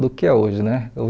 do que é hoje, né?